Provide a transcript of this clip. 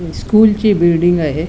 ही स्कूलची बिल्डिंग आहे.